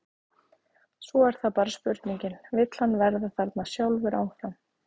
Svo er það bara spurningin, vill hann vera þarna sjálfur áfram?